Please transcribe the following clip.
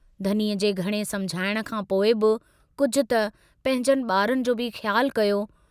धनीअ जे घणे समुझाइण खां पोइ बि कुझु त पंहिंजनि बारनि जो बि ख्यालु कयो?